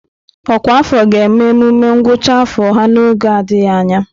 Ọkwa afọ ga-eme emume ngwụcha afọ ha n'oge adịghị anya.